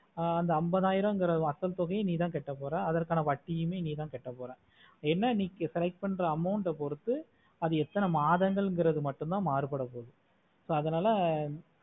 ஆஹ் அந்த அம்பது அய்யரம்தர அசல் தொகையையும் நீத்த கட்ட போற அதற்கான வட்டியுமே நீத்த கட்ட போற ஏன்னா நீ correct பண்ணுற amount ஆஹ் பொறுத்து எத்தனை மாதங்கள் நுமட்டும் தா மறுபட்டபோது so அதுனால